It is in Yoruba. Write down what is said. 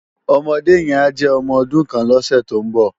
Òmòdé yèn á jè òmò òdún kán lòsè tó n bò